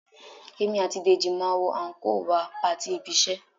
Èmi àti Dèjì máa wọ àńkò wá patí ibi-iṣẹ́